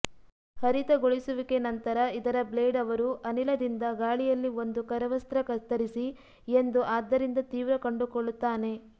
ಹರಿತಗೊಳಿಸುವಿಕೆ ನಂತರ ಇದರ ಬ್ಲೇಡ್ ಅವರು ಅನಿಲದಿಂದ ಗಾಳಿಯಲ್ಲಿ ಒಂದು ಕರವಸ್ತ್ರ ಕತ್ತರಿಸಿ ಎಂದು ಆದ್ದರಿಂದ ತೀವ್ರ ಕಂಡುಕೊಳ್ಳುತ್ತಾನೆ